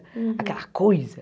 Aquela coisa.